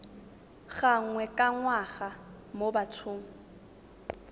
gangwe ka ngwaga mo bathong